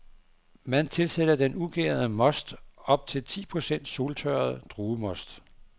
Man tilsætter den ugærede most op til ti procent soltørret druemost.